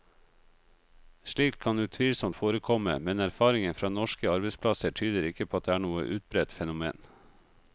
Slikt kan utvilsomt forekomme, men erfaringen fra norske arbeidsplasser tyder ikke på at det er noe utbredt fenomen.